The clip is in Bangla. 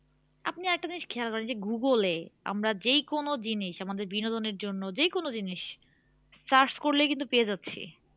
আপনি আর একটা জিনিস খেয়াল করেন যে google এ আমরা যেই কোন জিনিস আমাদের বিনোদনের জন্য যেই কোন জিনিস search করলেই কিন্তু পেয়ে যাচ্ছি